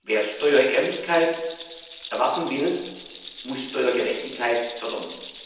Wer Steuerehrlichkeit erwarten will, muss Steuergerechtigkeit fördern.